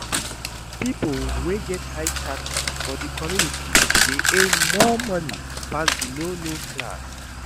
Pipo wey get high status for di communities de earn more money pass di low low class